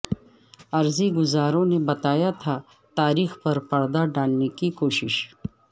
عرضی گزاروں نے بتایا تھا تاریخ پر پردہ ڈالنے کی کوشش